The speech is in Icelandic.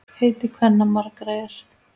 Heiti kvenna margra er.